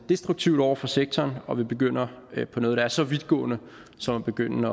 destruktivt over for sektoren og at vi begynder på noget der er så vidtgående som at begynde